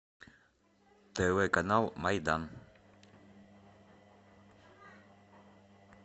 тв канал майдан